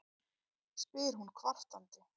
spyr hún kvartandi.